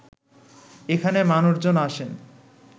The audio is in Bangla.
এখানে মানুষজন আসেন